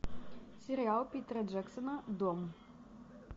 сериал питера джексона дом